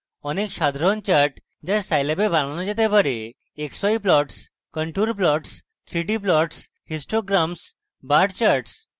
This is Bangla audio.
অনেক সাধারণ charts the scilab এ বানানো যেতে bar the নিম্নরূপ: xy plots contour contour plots 3d plots histograms bar charts ইত্যাদি